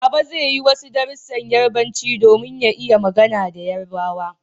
Baba zai yi wasu darussan Yarbanci domin ya iya magana da yarbawa